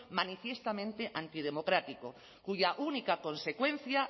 manifiestamente antidemocrático cuya única consecuencia